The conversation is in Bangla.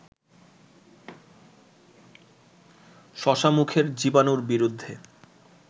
শশা মুখের জীবানুর বিরুদ্ধে